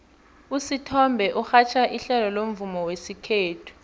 usithombe urhatjha ihlelo lomvumo wesikhethu